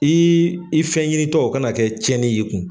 I i fɛn ɲinitɔ o kana kɛ cɛniyin kun.